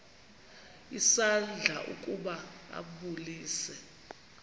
isandla ukuba ambulise